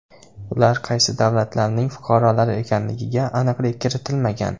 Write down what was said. Ular qaysi davlatlarning fuqarolari ekanligiga aniqlik kiritilmagan.